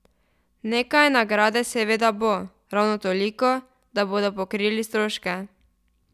Nekaj nagrade seveda bo, ravno toliko, da bodo pokrili stroške.